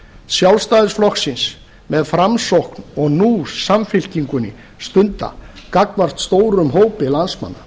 sjálfstæðisflokksins með framsókn og nú samfylkingunni stunda gagnvart stórum hópi landsmanna